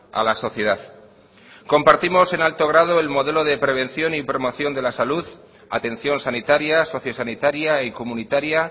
a la sociedad compartimos en alto grado el modelo de prevención y promoción de la salud atención sanitaria sociosanitaria y comunitaria